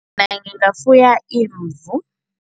Ngingafuya imvu.